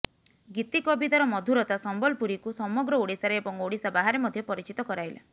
ଗୀତି କବିତାର ମଧୁରତା ସମ୍ବଲପୁରୀକୁ ସମଗ୍ର ଓଡ଼ିଶାରେ ଏବଂ ଓଡ଼ିଶା ବାହାରେ ମଧ୍ୟ ପରିଚିତ କରାଇଲା